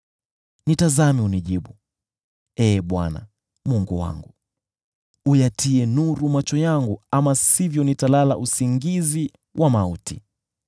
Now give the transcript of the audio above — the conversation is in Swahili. Nitazame, unijibu, Ee Bwana Mungu wangu. Yatie nuru macho yangu, ama sivyo nitalala usingizi wa mauti.